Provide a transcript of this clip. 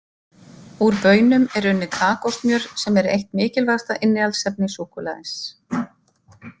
Úr baununum er unnið kakósmjör sem er eitt mikilvægasta innihaldsefni súkkulaðis.